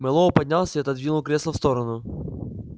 мэллоу поднялся и отодвинул кресло в сторону